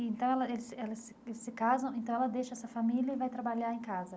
Então, ela eles ela eles se casam, então ela deixa essa família e vai trabalhar em casa?